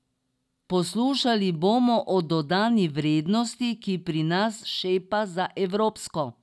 Poslušali bomo o dodani vrednosti, ki pri nas šepa za evropsko.